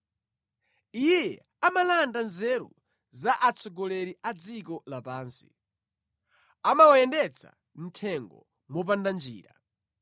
Iye amalanda nzeru za atsogoleri a dziko lapansi; amawayendetsa mʼthengo mopanda njira.